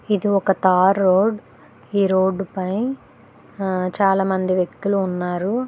ఇది ఒక tar road ఈ రోడ్డు పై ఆ చాలామంది వ్యక్తులు ఉన్నారు.